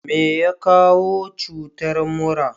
meya kawo cutar mura?